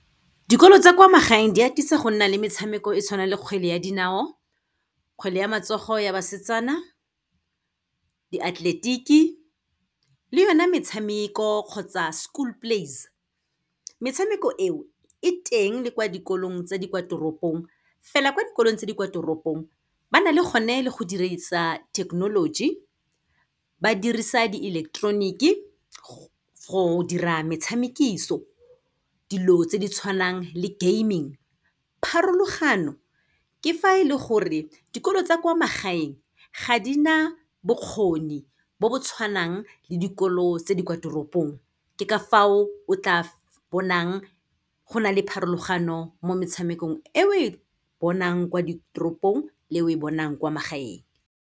Dikolo tsa kwa magaeng di atisa gonna le metshameko e tshwana le kgwele ya dinao, kgwele ya matsogo ya basetsana, diatleletiki le yona metshameko kgotsa school plays. Metshameko eo, e teng le kwa dikolong tse di kwa toropong, fela kwa dikolong tse di kwa toropong, ba na le gone le go dirisa thekenoloji, ba dirisa di-electronic-e, go dira metshamekiso, dilo tse di tshwanang le gaming. Pharologano, ke fa e le gore dikolo tsa kwa magaeng ga di na bokgoni bo bo tshwanang le dikolo tse di kwa toropong, ke ka fao o tla bonang go na le pharologano mo metshamekong e o e bonang kwa ditoropong le e o e bonang kwa magaeng.